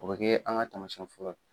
O bɛ kɛ an ka taamayɛn fɔlɔ ye.